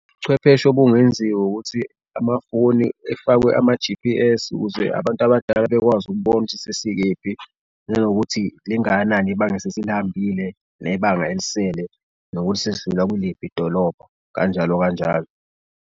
Ubuchwepheshe obungenziwa ukuthi amafoni efakwe ama-G_P_S ukuze abantu abadala bekwazi ukubona ukuthi sesikephi, nanokuthi lingakanani ibange esesilihambile nebanga elisele nokuthi sesidlula kuliphi idolobho, kanjalo kanjalo.